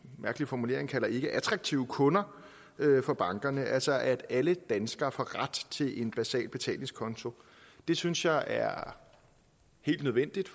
mærkelig formulering kalder ikke attraktive kunder for bankerne til altså at alle danskere får ret til en basal betalingskonto det synes jeg er helt nødvendigt